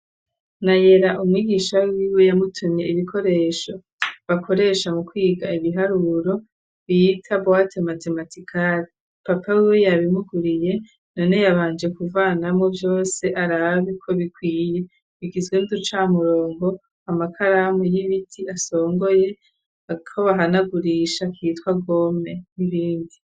Nayera, umwigisha wiwe yamutumye ibikoresho bakoresha mu kwiga ibiharuro bita bwate matematikari. Papa wiwe yabimuguriye, none yabanje kuvanamwo vyose, arabe ko bikwiye, bigizwe: n'uducamurongo, amakaramu y'ibiti asongoye, ako bahanagurisha kitwa gome, n'ibindi.